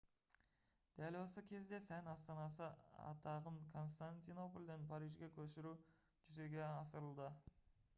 дәл осы кезде сән астанасы атағын константинопольден парижге көшіру жүзеге асырылды